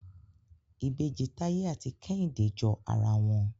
Ìbejì Taye àti Kehinde jọ àrà wón.